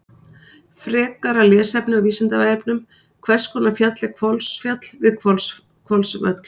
Frekara lesefni á Vísindavefnum: Hvers konar fjall er Hvolsfjall við Hvolsvöll?